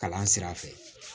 Kalan sira fɛ